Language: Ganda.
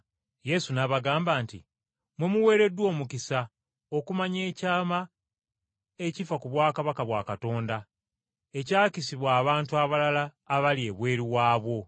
Yesu n’abagamba nti, “Mmwe muweereddwa omukisa okumanya ekyama ekifa ku bwakabaka bwa Katonda ekyakisibwa abantu abalala abali ebweru waabwo.”